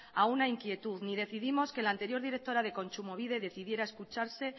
a una inquietud ni decidimos que la anterior directora de kontsumobide decidiera escudarse